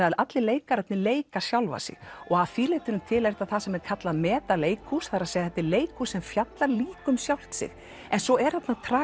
að allir leikararnir leika sjálfa sig og að því leytinu til er þetta það sem er kallað meta leikhús það er þetta er leikhús sem fjallar líka um sjálft sig en svo er þarna